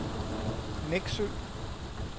Neksø